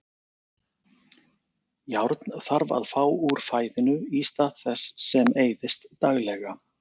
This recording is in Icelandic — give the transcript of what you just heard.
Járn þarf að fá úr fæðinu í stað þess sem eyðist daglega.